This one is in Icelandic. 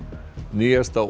nýjasta